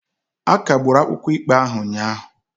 A kagburu akwụkwọ ikpe ahụ ụnyahụ.